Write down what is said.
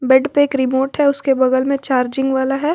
Bed पे एक remote है उसके बगल में चार्जिंग वाला है।